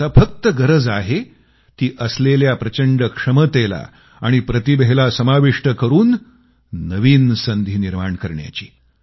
आता फक्त गरज आहे ती असलेल्या प्रचंड क्षमतेला आणि प्रतिभेला समाविष्ट करून नवीन संधी निर्माण करण्याची